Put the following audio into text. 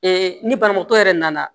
ni banabaatɔ yɛrɛ nana